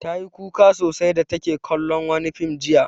Ta yi kuka sosai da take kallon wani fim jiya.